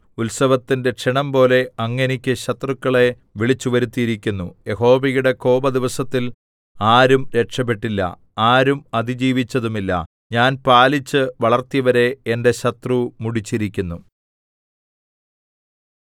ഉത്സവത്തിന്റെ ക്ഷണംപോലെ അങ്ങ് എനിക്ക് ശത്രുക്കളെ വിളിച്ചുവരുത്തിയിരിക്കുന്നു യഹോവയുടെ കോപദിവസത്തിൽ ആരും രക്ഷപെട്ടില്ല ആരും അതിജീവിച്ചതുമില്ല ഞാൻ പാലിച്ച് വളർത്തിയവരെ എന്റെ ശത്രു മുടിച്ചിരിക്കുന്നു